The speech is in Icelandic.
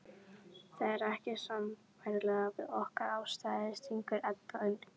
Það er ekki sambærilegt við okkar aðstæður, stingur Edda inn.